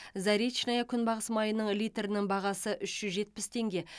заречное күнбағыс майының литрінің бағасы үш жүз жетпіс теңге